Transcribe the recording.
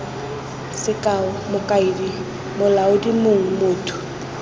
sekao mokaedi molaodi mong motho